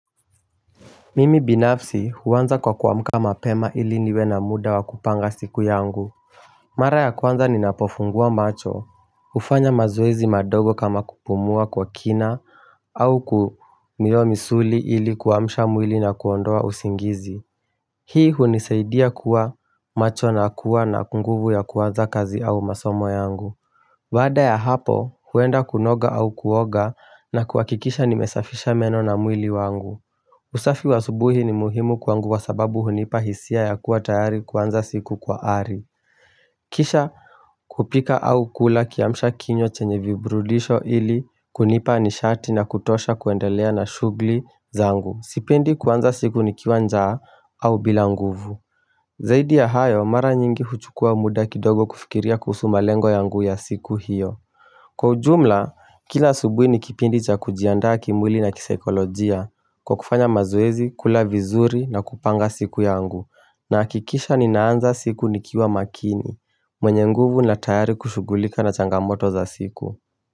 Mimi binafsi huanza kwa kuamka mapema ili niwe na muda wa kupanga siku yangu Mara ya kwanza ninapofungua macho hufanya mazoezi madogo kama kupumua kwa kina au kumiyua misuli ili kuamsha mwili na kuondoa usingizi Hii hunisaidia kuwa macho na kuwa na kunguvu ya kuanza kazi au masomo yangu baada ya hapo huenda kunoga au kuoga na kuhakikisha nimesafisha meno na mwili wangu usafi wa asubuhi ni muhimu kwangu wa sababu hunipa hisia ya kuwa tayari kwanza siku kwa ari Kisha kupika au kula kiamsha kinywa chenye viburudisho ili kunipa nishati na kutosha kuendelea na shughli zangu Sipendi kuanza siku nikiwa njaa au bila nguvu Zaidi ya hayo mara nyingi huchukua muda kidogo kufikiria kuhusu malengo yangu ya siku hiyo Kwa ujumla kila asubuhi ni kipindi cha kujiandaa kimwili na kisekolojia Kwa kufanya mazoezi, kula vizuri na kupanga siku yangu Nahakikisha ninaanza siku nikiwa makini mwenye nguvu na tayari kushugulika na changamoto za siku.